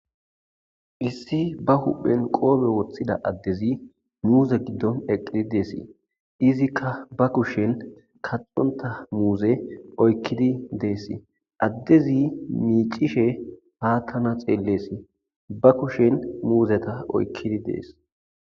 issi ba huphen qoobe woththida addezi muzse giddon eqqidi deessii izikka ba kushen kaxonta muuze oykkidi deessi addezi miicishe haattana xeelleesii ba kushen muuzeta oykkidi dees